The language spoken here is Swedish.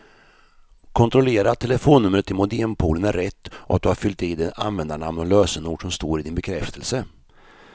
Kontrollera att telefonnumret till modempoolen är rätt och att du har fyllt i det användarnamn och lösenord som står i din bekräftelse.